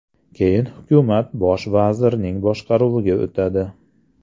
Keyin hukumat bosh vazirning boshqaruviga o‘tadi.